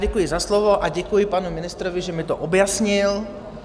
Děkuji za slovo a děkuji panu ministrovi, že mi to objasnil.